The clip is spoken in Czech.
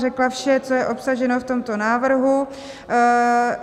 Řekla vše, co je obsaženo v tomto návrhu.